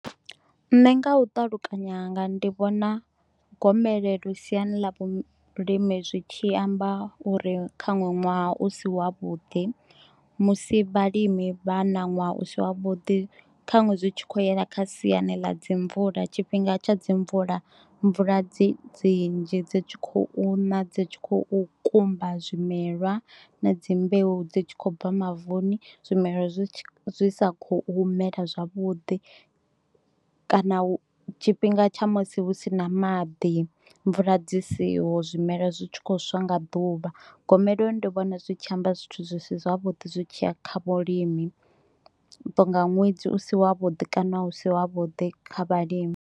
Nṋe nga u ṱalukanya hanga ndi vhona gomelelo siani ḽa vhulimi zwi tshi amba uri kha nwe ṅwaha u si wa vhuḓi, musi vhalimi vha na ṅwaha u si wa vhuḓi khanwe zwi tshi kho yela kha siani ḽa dzi mvula tshifhinga tsha dzi mvula mvula dzi dzi nnzhi dzi tshi khou na dzi tshi khou kumba zwimelwa na dzi mbeu dzi tshi khou bva mavuni zwimela zwi sa kho mela zwavhuḓi, kana tshifhinga tsha musi hu si na maḓi mvula dzi siho zwimela zwi tshi kho swa nga ḓuvha. Gomelelo ndi vhona zwi tshi amba zwithu zwi si zwavhuḓi zwi tshiya kha vhulimi uto nga ṅwedzi u si wa vhuḓi kana u si wa vhuḓi kha vhalimi.